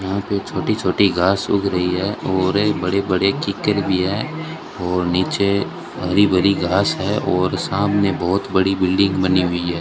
यहां पे छोटी छोटी घास उग रही है और एक बड़े बड़े भी हैं और नीचे हरी भरी घास है और सामने बहोत बड़ी बिल्डिंग बनी हुई है।